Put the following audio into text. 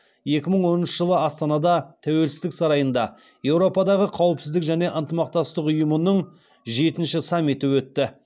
екі мың онаншы жылы астанада тәуелсіздік сарайында еуропадағы қауіпсіздік және ынтымақтастық ұйымының жетінші саммиті өтті